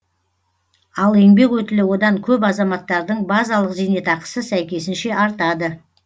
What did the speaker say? ал еңбек өтілі одан көп азаматтардың базалық зейнетақысы сәйкесінше артады